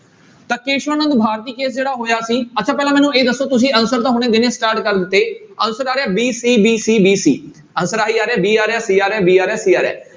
ਤਾਂ Kesavananda Bharati case ਜਿਹੜਾ ਹੋਇਆ ਸੀ ਅੱਛਾ ਪਹਿਲਾਂ ਮੈਨੂੰ ਇਹ ਦੱਸੋ ਤੁਸੀਂ answer ਤਾਂ ਹੁਣੇ ਦੇਣੇ start ਕਰ ਦਿੱਤੇ answer ਆ ਰਿਹਾ b, c, b, c, b, c answer ਆਈ ਜਾ ਰਿਹਾ b ਆ ਰਿਹਾ c ਆ ਰਿਹਾ d ਆ ਰਿਹਾ ਸੀ ਰਿਹਾ।